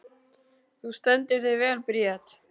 Þú stendur þig vel, Bríet!